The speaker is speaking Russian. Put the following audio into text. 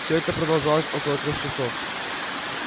всё это продолжалось около трёх часов